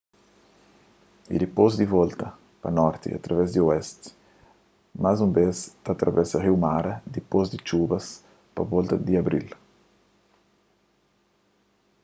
y dipôs di volta pa norti através di oesti más un bês ta atravesa riu mara dipôs di txubas pa volta di abril